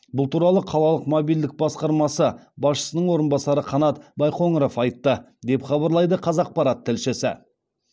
бұл туралы қалалық мобильділік басқармасы басшысының орынбасары қанат байқоңыров айтты деп хабарлайды қазақпарат тілшісі